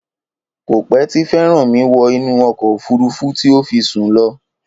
Kò pẹ́ tí Fẹ́rànmi wọ inú ọkọ̀ òfúrufú tí ó fi sún lọ